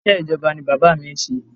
Iṣẹ́ ijoba ni bàbá mi ń ṣe.